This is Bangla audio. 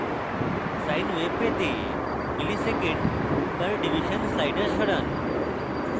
sine waves পেতে msec/div slider সরান